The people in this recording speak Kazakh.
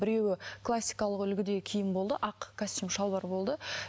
біреуі классикалық үлгідегі киім болды ақ костюм шалбар болды